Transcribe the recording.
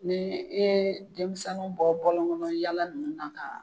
Ni i ye denmisɛnninw bɔ bɔlɔn kɔnɔ yala nunnu na ka